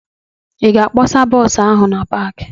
Ị ga-apasa bọọsụ ahụ na paakị?